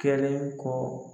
Kɛlen kɔ